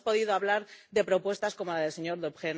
No hemos podido hablar de propuestas como la del señor Deprez.